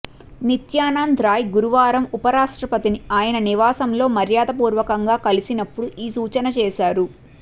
నిత్యానంద్ రాయ్ గురువారం ఉపరాష్ట్రపతి ని ఆయన నివాసంలో మర్యాదపూర్వకంగా కలిసినప్పుడు ఈ సూచన చేశారు